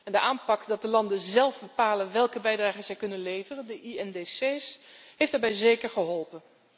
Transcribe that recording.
En de aanpak, dat de landen zelf bepalen welke bijdrage zij kunnen leveren, de INDC, is daarbij zeker geholpen.